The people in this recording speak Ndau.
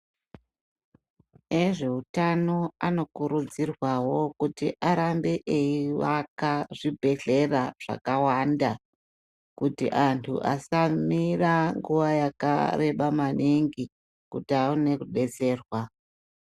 Vanoona ngezvehutano anokuridzirwawo kuti arambe eivaka zvibhedhlera zvakawanda kuti antu asamira nguva yakareba manhingi kuti awane kubetserwa.